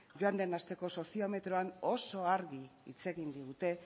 joan den asteko soziometroan oso argi hitz egin digute